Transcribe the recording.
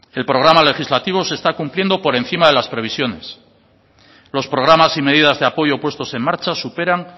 el programa legislativo se está cumpliendo por encima de las previsiones los programas y medidas de apoyo puestos en marcha superan